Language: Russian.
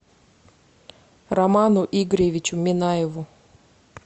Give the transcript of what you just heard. роману игоревичу минаеву